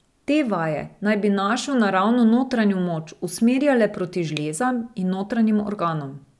Te vaje naj bi našo naravno notranjo moč usmerjale proti žlezam in notranjim organom.